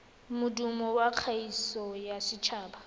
modumo wa kgaso ya setshaba